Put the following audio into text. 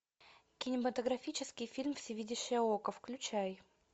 кинематографический фильм всевидящее око включай